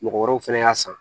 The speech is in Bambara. Mɔgɔ wɛrɛw fɛnɛ y'a san